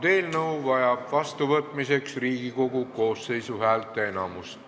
See eelnõu vajab vastuvõtmiseks Riigikogu koosseisu häälteenamust.